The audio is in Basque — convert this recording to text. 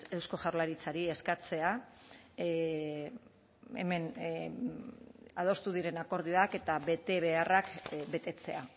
eusko jaurlaritzari eskatzea hemen adostu diren akordioak eta betebeharrak betetzea